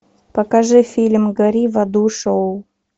покажи фильм гори в аду шоу